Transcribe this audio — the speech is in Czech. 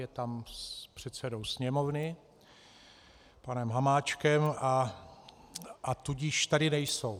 Je tam s předsedou sněmovny panem Hamáčkem, a tudíž tady nejsou.